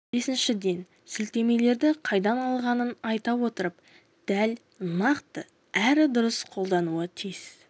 бесіншіден сілтемелерді қайдан алынғанын айта отырып дәл нақты әрі дұрыс қолдануы тиіс